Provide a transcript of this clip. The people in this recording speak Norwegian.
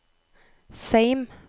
Seim